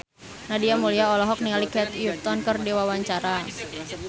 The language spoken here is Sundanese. Nadia Mulya olohok ningali Kate Upton keur diwawancara